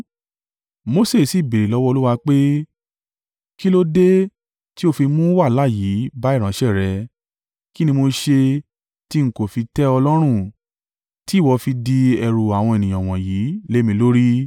Mose sì béèrè lọ́wọ́ Olúwa pé, “Kí ló dé tí o fi mú wàhálà yìí bá ìránṣẹ́ rẹ? Kí ni mo ṣe tí n kò fi tẹ ọ lọ́rùn tí ìwọ fi di ẹrù àwọn ènìyàn wọ̀nyí lé mi lórí.